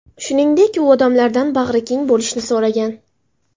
Shuningdek, u odamlardan bag‘rikengroq bo‘lishni so‘ragan.